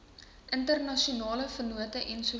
internasionale vennote ens